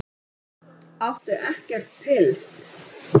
Áttu ekkert pils?